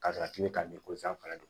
Ka sɔrɔ k'i bɛ ka nin ko in sanfɛla de